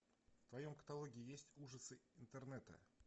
в твоем каталоге есть ужасы интернета